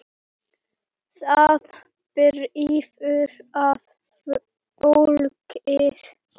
Það drífur að fólkið.